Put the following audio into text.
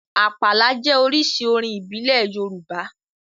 Àpàlà jẹ́ oríṣi orin ìbílẹ̀ Yorùbá